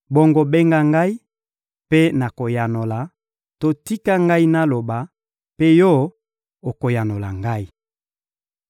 Bongo benga ngai, mpe nakoyanola; to tika ngai naloba, mpe Yo okoyanola ngai.